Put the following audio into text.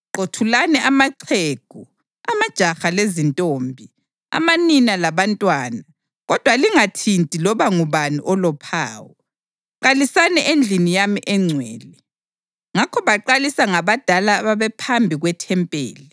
Qothulani amaxhegu, amajaha lezintombi, amanina labantwana, kodwa lingathinti loba ngubani olophawu. Qalisani endlini yami engcwele.” Ngakho baqalisa ngabadala ababephambi kwethempeli.